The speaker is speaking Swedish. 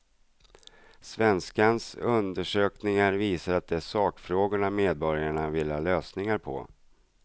Svenskans undersökning visar att det är sakfrågorna medborgarna vill ha lösningar på.